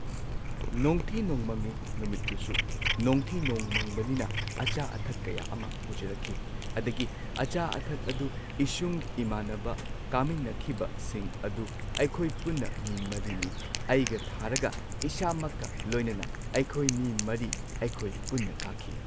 ꯅꯣꯡꯊꯤ ꯅꯣꯡꯃꯪꯉꯤ ꯅꯨꯃꯤꯠꯇꯨꯁꯨ ꯅꯣꯡꯊꯤ ꯅꯣꯡꯃꯪꯕꯅꯤꯅ ꯑꯆꯥ ꯑꯊꯛ ꯀꯌꯥ ꯑꯃ ꯄꯨꯖꯔꯛꯈꯤ꯫ ꯑꯗꯒꯤ ꯑꯆꯥ ꯑꯊꯛ ꯑꯗꯨ ꯏꯁꯨꯡ ꯏꯃꯥꯟꯅꯕ ꯀꯥꯃꯤꯟꯅꯈꯤꯕꯁꯤꯡ ꯑꯗꯨ ꯑꯩꯈꯣꯏ ꯄꯨꯟꯅ ꯃꯤ ꯃꯔꯤꯅꯤ ꯑꯩꯒ ꯊꯥꯔꯒ ꯏꯁꯥꯃꯛꯀ ꯂꯣꯏꯅꯅ ꯑꯩꯈꯣꯏ ꯃꯤ ꯃꯔꯤ ꯑꯩꯈꯣꯏ ꯄꯨꯟꯅ ꯀꯥꯈꯤ꯫